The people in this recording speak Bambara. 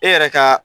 E yɛrɛ ka